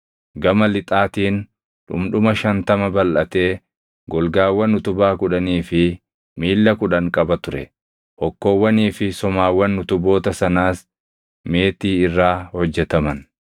Gama lixaatiin dhundhuma shantama balʼatee golgaawwan utubaa kudhanii fi miilla kudhan qaba ture; hokkoowwanii fi somaawwan utuboota sanaas meetii irraa hojjetaman.